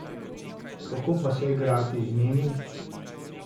Kako pa se igrati z njimi?